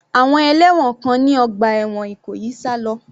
Àwọn ẹlẹ́wọ̀n kan ní ọgbà ẹ̀wọ̀n Ìkòyí sá lọ.